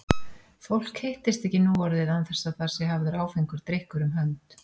Fólk hittist ekki nú orðið án þess að það sé hafður áfengur drykkur um hönd.